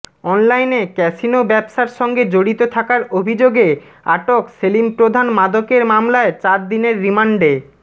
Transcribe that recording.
অনলাইনে ক্যাসিনো ব্যবসার সঙ্গে জড়িত থাকার অভিযোগে আটক সেলিম প্রধান মাদকের মামলায় চার দিনের রিমান্ডে